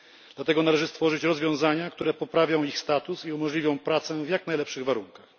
Dlatego należy stworzyć rozwiązania, które poprawią ich status i umożliwią pracę w jak najlepszych warunkach.